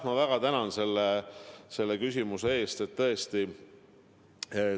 Ma väga tänan selle küsimuse eest!